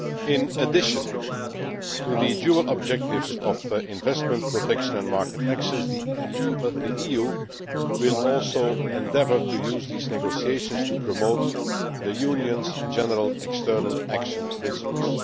In addition to the dual objectives of investment, protection and market access, the EU will also endeavour to use these negotiations to promote the Union's general external action principles.